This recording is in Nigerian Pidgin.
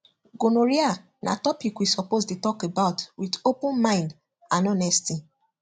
gonorrhea na topic we suppose dey talk about with open mind and honesty